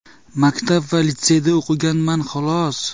Maktab va litseyda o‘qiganman, xolos.